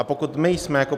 A pokud my jsme jako